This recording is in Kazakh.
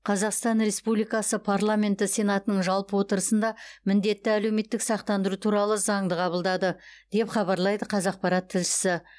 қазақстан республикасы парламенті сенатының жалпы отырысында міндетті әлеуметтік сақтандыру туралы заңын қабылданды деп хабарлайды қазақпарат тілшісі